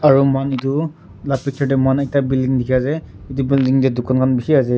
aro muhan etu la picture de ekta building dikhi ase etu building de dukan khan bishi ase.